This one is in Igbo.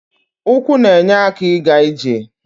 Ụkwụ na-enye aka ịga ije.